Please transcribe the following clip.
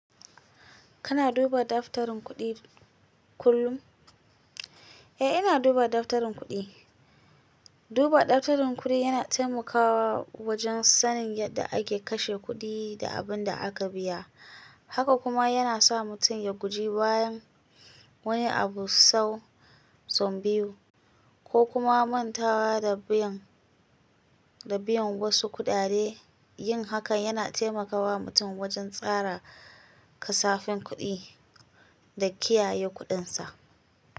Kana duba daftarin kuɗi kullum? Eh, ina duba daftarin kuɗi. Duba daftarin kuɗi yana taimakawa wajen sanin yadda ake kashe kuɗi da abin da aka biya. Haka kuma yana sa mutum ya guji bayan wani abu sau zombiyu ko kuma mantawa da biyan, da biyan wasu kuɗade. Yin hakan yana taimakawa mutum wajen tsara kasafin kuɗi da kiyaye kuɗinsa.